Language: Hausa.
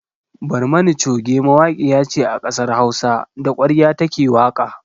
Barmani coge mawaƙiya ce a kasar Hausa, da ƙwarya ta ke waƙa.